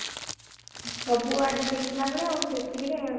ସବୁ ଆଡେ ଦେଖିଲା ବେଳେ ଆଉ ସେଈତିକି ରେ